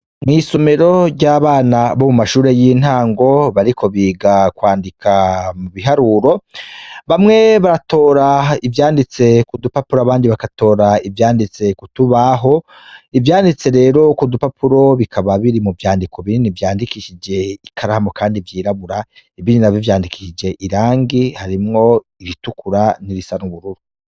Mw'isomero ry'abana bo mu mashure y'intango bariko biga kwandika mu biharuro bamwe baratora ivyanditse kudupapuro abandi bagatora ivyanditse kutubaho ivyanditse rero ku dupapuro bikaba biri mu vyandiko binini vyandikishije ikaramu, kandi vyirabura ibindi navyo vyandikishije irangi harimwo iritukura n'irisa n'ubururu.